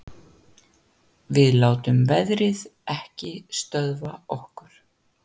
Við látum veðrið ekki stöðva okkur